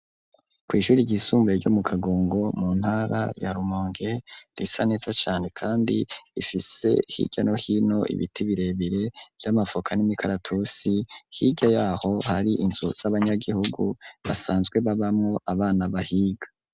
Kw'ishure ryisumbaye ryo mu kagongo mu ntara ya rumonge risa neza cane kandi ifise hirya no hino ibiti birebire vy'amavoka n'imikaratusi hirya yaho hari inzu z'abanyagihugu basanzwe babamwo abana bahiga.